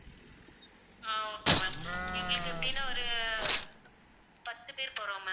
ஆஹ் okay ma'am எங்களுக்கு எப்படின்ன ஒரு பத்து பேர் போறோம் ma'am